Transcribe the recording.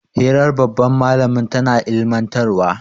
hirar babban malamin tana ilimantarwa